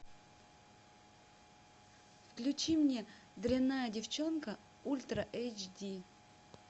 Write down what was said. включи мне дрянная девчонка ультра эйч ди